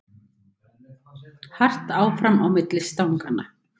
Hart áfram á milli stanganna